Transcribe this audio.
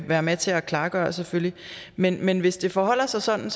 være med til at afklare selvfølgelig men men hvis det forholder sig sådan